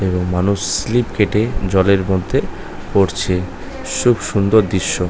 মানুষ স্লিপ কেটে জলের মধ্যে পড়ছে সুন্দর দৃশ্য। ।